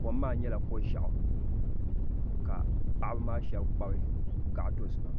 kom maa nyɛla ko'ʒiaɣu ka paɣaba maa sheba kpabi gaɣa dozima.